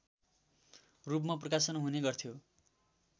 रूपमा प्रकाशन हुने गर्थ्यो